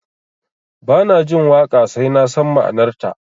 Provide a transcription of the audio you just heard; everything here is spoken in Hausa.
Ba na jin waƙa sai na san ma'anarta